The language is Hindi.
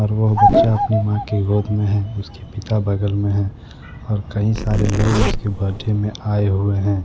और वह बच्चा अपनी मां की गोद में है उसके पिता बगल में है और कई सारे लोग उसके बर्थडे में आए हुए हैं।